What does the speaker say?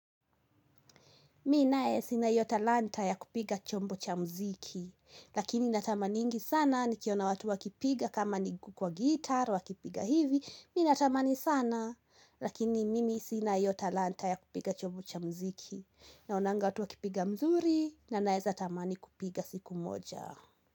Mimi naye sina hiyo talanta ya kupiga chombo cha muziki, lakini natamaningi sana ni kiona watu wa kipiga kama ni kwa guitar wa kipiga hivi, mimi na tamani sana, Lakini mimi sina iyo talanta ya kupiga chombo cha muziki, naonanga watu wa kipiga mzuri, na naeza tamani kupiga siku moja.